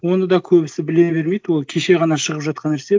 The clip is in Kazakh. оны да көбісі біле бермейді ол кеше ғана шығып жатқан нәрсе